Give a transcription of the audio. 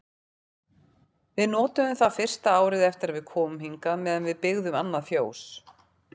Við notuðum það fyrsta árið eftir að við komum hingað meðan við byggðum annað fjós.